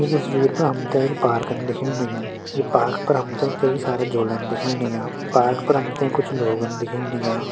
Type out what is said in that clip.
ईं तस्वीर पर हमतें एक पारकन दिखेण लग्युं ई पारक पर हमतें कई सारा झूलन दिखेण लग्यां पारक पर हमतें कुछ लोगन दिखेण लाग्यां।